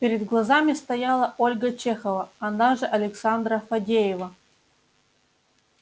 перед глазами стояла ольга чехова она же александра фадеева